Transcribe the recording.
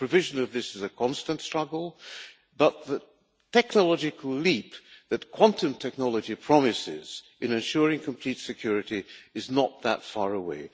The provision of this is a constant struggle, but the technological leap that quantum technology promises in ensuring complete security is not that far away.